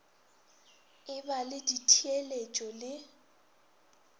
e ba le ditheeletšo le